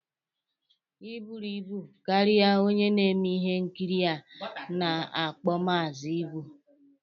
Ị buru ibu karịa onye na-eme ihe nkiri a na-akpo Maazi. Ibu.